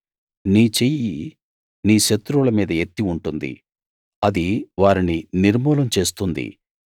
నీ చెయ్యి నీ శత్రువుల మీద ఎత్తి ఉంటుంది అది వారిని నిర్మూలం చేస్తుంది